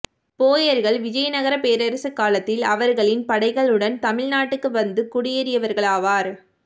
போயர்கள் விஜயநகரப் பேரரசு காலத்தில் அவர்களின் படைகளுடன் தமிழ் நாட்டுக்கு வந்து குடியேறியவர்களாவர்